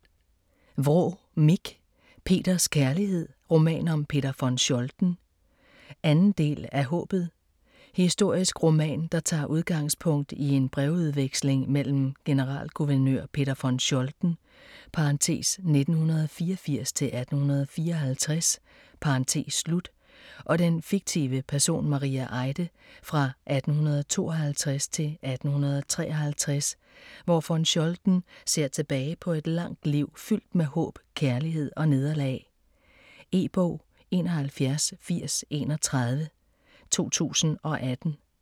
Vraa, Mich: Peters kærlighed: roman om Peter von Scholten 2. del af Haabet. Historisk roman, der tager udgangspunkt i en brevudveksling mellem generalguvernør Peter von Scholten (1784-1854) og den fiktive person Maria Eide fra 1852 til 1853, hvor von Scholten ser tilbage på et langt liv fyldt med håb, kærlighed og nederlag. E-bog 718031 2018.